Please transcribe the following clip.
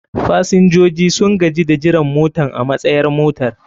fasinjoji sun gaji da jiran motan a matsayar motar.